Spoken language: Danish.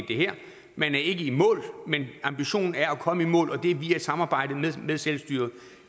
man er ikke i mål men ambitionen er at komme i mål og det er via et samarbejde med selvstyret